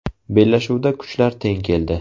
Bellashuvda kuchlar teng keldi.